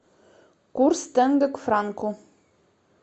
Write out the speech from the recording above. курс тенге к франку